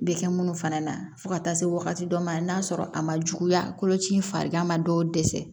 Bɛ kɛ minnu fana na fo ka taa se wagati dɔ ma n'a sɔrɔ a ma juguya koloci in farigan ma dɔw dɛsɛ